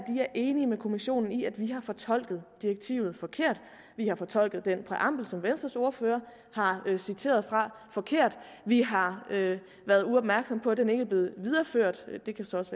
er enige med kommissionen i at vi har fortolket direktivet forkert vi har fortolket den præambel som venstres ordfører har citeret fra forkert vi har været uopmærksom på at den ikke er blevet videreført det kan så også